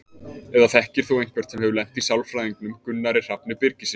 Eða þekkir þú einhvern sem hefur lent í sálfræðingnum Gunnari Hrafni Birgissyni?